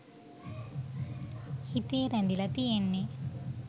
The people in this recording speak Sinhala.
හිතේ රැඳිලා තියෙන්නෙ